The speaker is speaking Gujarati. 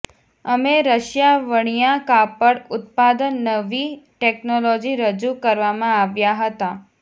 અમે રશિયા વણ્યા કાપડ ઉત્પાદન નવી ટેકનોલોજી રજૂ કરવામાં આવ્યા હતા